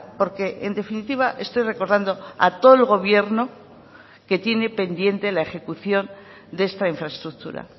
porque en definitiva estoy recordando a todo el gobierno que tiene pendiente la ejecución de esta infraestructura